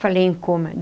Falei em coma.